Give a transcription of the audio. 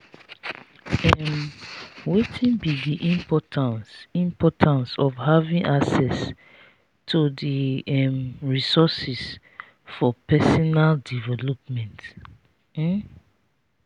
um wetin be di importance importance of having access to di um resources for personal development? um